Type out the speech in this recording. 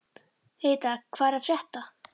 Heida, hvað er að frétta?